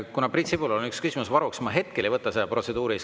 Kuna Priit Sibulal on üks küsimus varuks, siis ma hetkel ei võta seda protseduurilist.